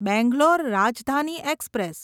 Bangalore Rajdhani express